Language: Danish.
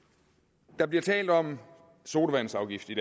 der bliver talt om sodavandsafgift